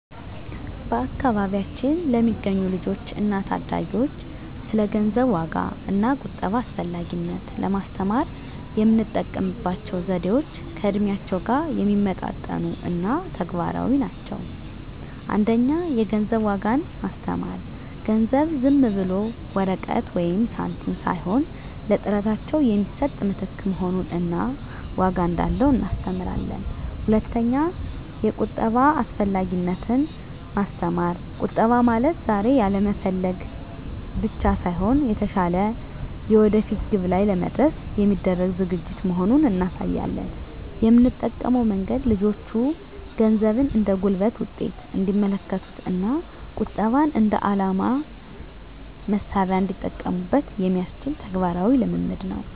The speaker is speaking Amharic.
በአካባቢያችን ለሚገኙ ልጆች እና ታዳጊዎች ስለ ገንዘብ ዋጋ እና ቁጠባ አስፈላጊነት ለማስተማር የምንጠቀምባቸው ዘዴዎች ከእድሜያቸው ጋር የሚመጣጠኑ እና ተግባራዊ ናቸው። 1) የገንዘብ ዋጋን ማስተማር ገንዘብ ዝም ብሎ ወረቀት ወይም ሳንቲም ሳይሆን ለጥረታቸው የሚሰጥ ምትክ መሆኑን እና ዋጋ እንዳለው እናስተምራለን። 2)የቁጠባ አስፈላጊነትን ማስተማር ቁጠባ ማለት ዛሬ ያለመፈለግ ብቻ ሳይሆን፣ የተሻለ የወደፊት ግብ ላይ ለመድረስ የሚደረግ ዝግጅት መሆኑን እናሳያለን። የምንጠቀመው መንገድ ልጆቹ ገንዘብን እንደ ጉልበት ውጤት እንዲመለከቱት እና ቁጠባን እንደ የዓላማ መሣሪያ እንዲጠቀሙበት የሚያስችል ተግባራዊ ልምምድ ነው።